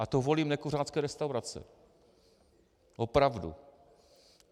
A to volím nekuřácké restaurace, opravdu.